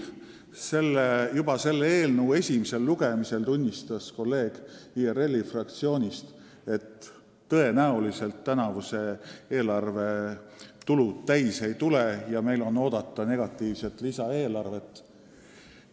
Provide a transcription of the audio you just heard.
Juba selle eelnõu esimesel lugemisel tunnistas kolleeg IRL-i fraktsioonist, et tõenäoliselt tänavuse eelarve tulud täis ei tule ja meil on oodata negatiivset lisaeelarvet.